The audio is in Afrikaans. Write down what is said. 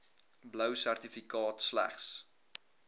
blou sertifikaat slegs